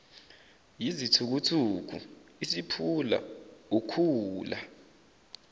yizithukuthuku isiphula ukhula